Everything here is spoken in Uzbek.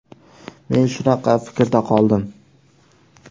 Men shunaqa fikrda qoldim.